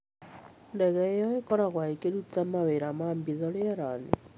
Ndege ĩyo ĩkoragwo ĩkĩruta mawĩra ma hitho rĩera-inĩ.